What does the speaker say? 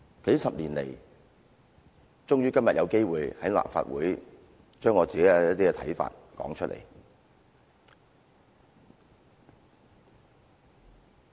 數十年來，今天我終於有機會在立法會說出我的一些看法。